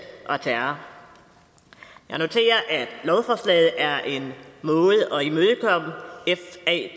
og terror jeg noterer at lovforslaget er en måde at